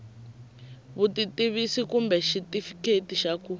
vutitivisi kumbe xitifiketi xa ku